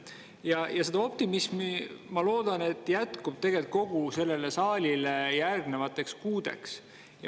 Ja ma loodan, et optimismi jätkub tegelikult kogu sellele saalile järgnevateks kuudeks.